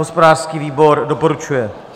Hospodářský výbor doporučuje.